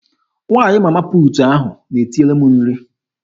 Nwaanyị Mama puutu ahụ na-etinyere m nri.